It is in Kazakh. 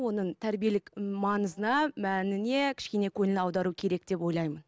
оның тәрбиелік маңызына мәніне кішкене көңіл аудару керек деп ойлаймын